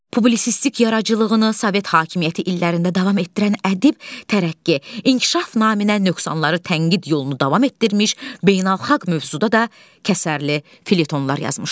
Publisistik yaradıcılığını Sovet hakimiyyəti illərində davam etdirən ədib tərəqqi, inkişaf naminə nöqsanları tənqid yolunu davam etdirmiş, beynəlxalq mövzuda da kəsərli felyetonlar yazmışdır.